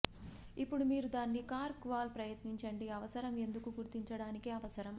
ఇప్పుడు మీరు దాన్ని కార్క్ వాల్ ప్రయత్నించండి అవసరం ఎందుకు గుర్తించడానికి అవసరం